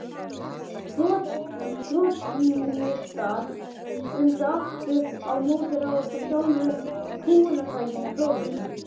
Trotskíistar vildu aftur á móti ráðast að sjálfu kúgunartækinu: prófunum.